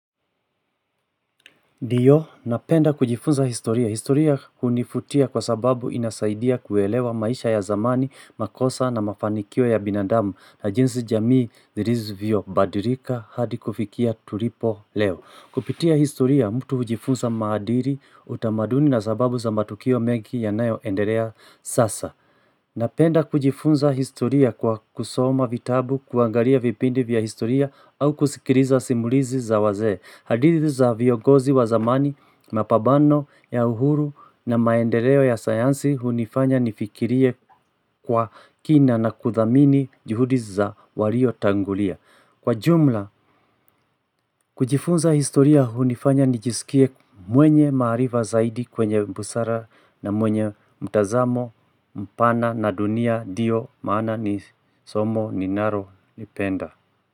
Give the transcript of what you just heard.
Ndiyo, napenda kujifunza historia. Historia kunivutia kwa sababu inasaidia kuelewa maisha ya zamani, makosa na mafanikio ya binadamu na jinsi jamii zilivyobadilika hadi kufikia tulipo leo. Kupitia historia, mtu hujifunza maadili utamaduni na sababu za matukio mengi yanayoendelea sasa. Napenda kujifunza historia kwa kusoma vitabu kuangalia vipindi vya historia au kusikiliza simulizi za wazee. Hadithi za viongozi wa zamani, mapambano ya uhuru na maendeleo ya sayansi hunifanya nifikirie kwa kina na kuthamini juhudi za waliotangulia. Kwa jumla, kujifunza historia hunifanya nijisikie mwenye maarifa zaidi kwenye busara na mwenye mtazamo, mpana na dunia, ndio maana ni somo ninalolipenda.